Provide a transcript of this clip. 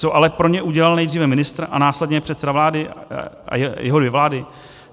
Co ale pro ně udělal nejdříve ministr a následně předseda vlády a jeho dvě vlády?